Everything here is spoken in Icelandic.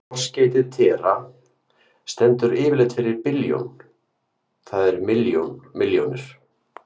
Forskeytið tera- stendur yfirleitt fyrir billjón, það er milljón milljónir.